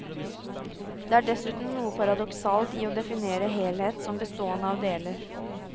Det er dessuten noe paradoksalt i å definere helhet som bestående av deler.